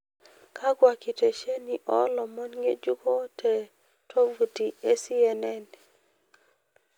kakwa nkitisheni olomon ngejuko te tovuti. e c. n.n